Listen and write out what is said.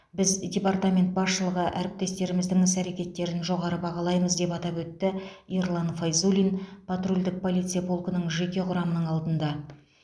біз департамент басшылығы әріптестеріміздің іс әрекеттерін жоғары бағалаймыз деп атап өтті ерлан файзуллин патрульдік полиция полкінің жеке құрамының алдында